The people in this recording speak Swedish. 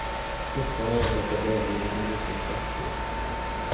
Forskarna arbetar bara inom en liten sektor.